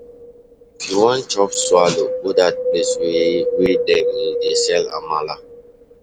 If you wan cheap swallow, go dat place wey wey dem dey sell amala.